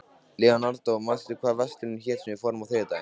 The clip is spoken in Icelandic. Leonardó, manstu hvað verslunin hét sem við fórum í á þriðjudaginn?